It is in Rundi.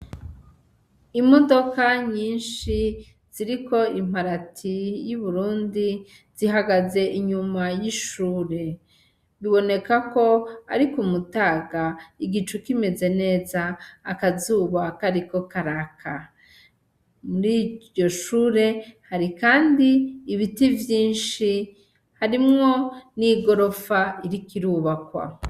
Imodoka nyinshi ziriko imparati yuburundi zihagaze inyuma yishure, bibonekako ari kumutaga igicu kimeze neza akazuba kariko karaka. Muriryo shure hari kandi ibiti vyinshi harimwo n'igorofa iriko irubakwa.